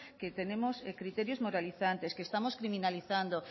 que tenemos criterios moralizantes que estamos criminalizando